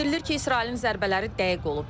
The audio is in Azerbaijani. Bildirilir ki, İsrailin zərbələri dəqiq olub.